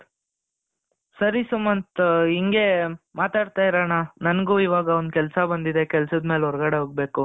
ಸರಿ ಸುಮಂತ್ ಇಂಗೆ ಮಾತಾಡ್ತಾ ಇರೋಣ ನನಗೂ ಇವಾಗ ಒಂದು ಕೆಲಸ ಬಂದಿದೆ ಕೆಲಸದ ಮೇಲೆ ಹೊರಗಡೆ ಹೋಗಬೇಕು